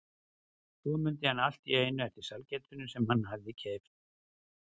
Svo mundi hann allt í einu eftir sælgætinu sem hann hafði keypt.